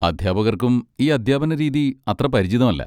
അധ്യാപകർക്കും ഈ അധ്യാപന രീതി അത്ര പരിചിതമല്ല.